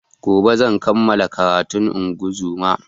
Gobe zan kamala karatun ingozuma